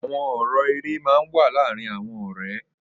Awọn ọrọ èrè mà n wà làárin awọn ọrẹ